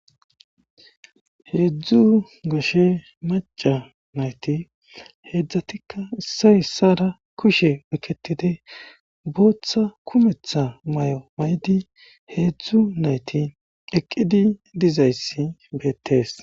heedzdzu goshe maca nayti heedzdzatikka issa issara kushe weketide booththa kumetha may7o may7di heedzdzu nayti eqqidi dizayssi beettees